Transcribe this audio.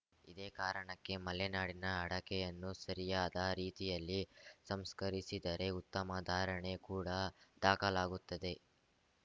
ಇದೇ ಕಾರಣಕ್ಕೆ ಮಲೆನಾಡಿನ ಅಡಕೆಯನ್ನು ಸರಿಯಾದ ರೀತಿಯಲ್ಲಿ ಸಂಸ್ಕರಿಸಿದರೆ ಉತ್ತಮ ಧಾರಣೆ ಕೂಡ ದಾಖಲಾಗುತ್ತದೆ